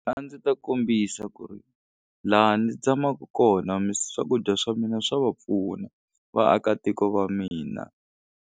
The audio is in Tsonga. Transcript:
A ndzi ta kombisa ku ri laha ndzi tshamaku kona swakudya swa mina swa va pfuna vaakatiko va mina.